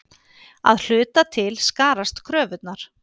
Að hluta til skarast kröfurnar.